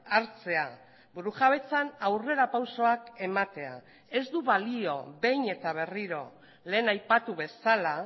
hartzea burujabetzan aurrerapausoak ematea ez du balio behin eta berriro lehen aipatu bezala